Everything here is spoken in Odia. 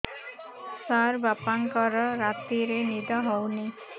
ସାର ବାପାଙ୍କର ରାତିରେ ନିଦ ହଉନି